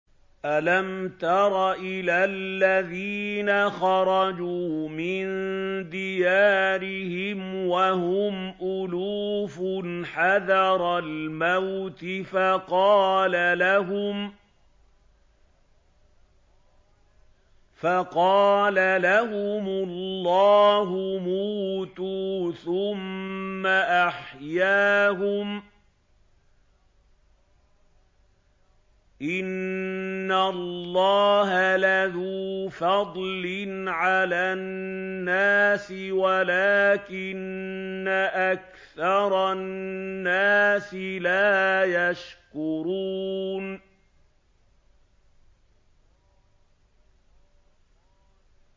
۞ أَلَمْ تَرَ إِلَى الَّذِينَ خَرَجُوا مِن دِيَارِهِمْ وَهُمْ أُلُوفٌ حَذَرَ الْمَوْتِ فَقَالَ لَهُمُ اللَّهُ مُوتُوا ثُمَّ أَحْيَاهُمْ ۚ إِنَّ اللَّهَ لَذُو فَضْلٍ عَلَى النَّاسِ وَلَٰكِنَّ أَكْثَرَ النَّاسِ لَا يَشْكُرُونَ